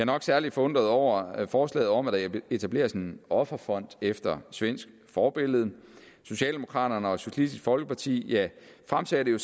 nok særlig forundret over forslaget om at der etableres en offerfond efter svensk forbillede socialdemokraterne og socialistisk folkeparti fremsatte jo